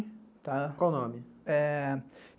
Qual o nome?